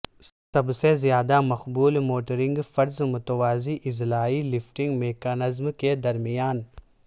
سب سے زیادہ مقبول موٹرنگ فرض متوازی اضلاع لفٹنگ میکانزم کے درمیان